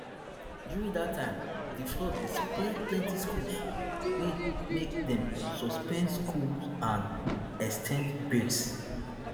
during dat time di flood bin spoil plenti schools wey make dem suspend school and ex ten d breaks